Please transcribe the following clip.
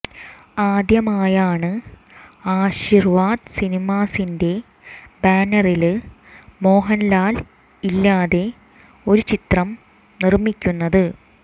ആദ്യമായാണ് ആശിര്വാദ് സിനിമാസിന്റെ ബാനറില് മോഹന്ലാല് ഇല്ലാതെ ഒരു ചിത്രം നിര്മ്മിക്കുന്നത്